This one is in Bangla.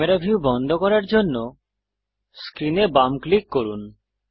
ক্যামেরা ভিউ বন্ধ করার জন্য স্ক্রিনে বাম ক্লিক করুন